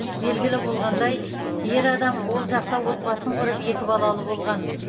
белгілі болғандай ер адам ол жақта отбасын құрып екі балалы болған